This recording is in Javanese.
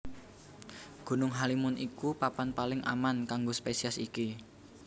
Gunung Halimun iku papan paling aman kanggo spesies iki